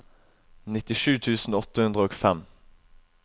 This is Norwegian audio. nittisju tusen åtte hundre og fem